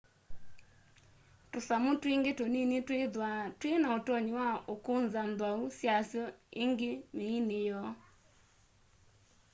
tûsamû twingî tunini twîthwaa twî na ûtonyi wa ûkûnza nthwau syasyo îngî mîînî yoo